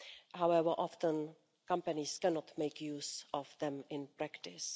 However, often companies cannot make use of them in practice.